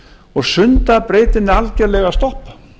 og sundabrautin er algjörlega stopp